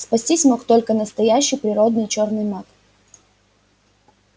спастись мог только настоящий природный чёрный маг